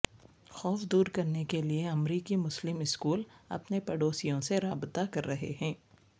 خوف دور کرنے کے لئے امریکی مسلم اسکول اپنے پڑوسیوں سے رابطہ کررہے ہیں